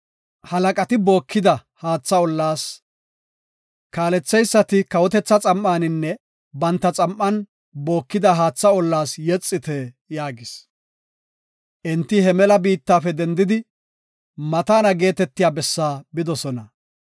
Halaqati bookida haatha ollaas, kaaletheysati kawotetha xam7aninne banta xam7an bookida haatha ollaas yexite” yaagis. Enti he mela biittafe dendidi Mataana geetetiya bessaa bidosona.